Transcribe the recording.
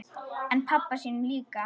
En pabba sínum líka.